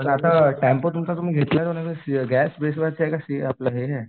तसं तुमचं टेम्पो तुम्ही गॅस वरती आहे का आपलं हे आहे?